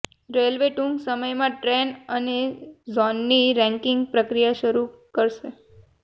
railway ટૂંક સમયમાં train અને ઝોનની રેન્કિંગ પ્રક્રિયા શરૂ કરશે